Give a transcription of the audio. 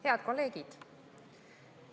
Head kolleegid!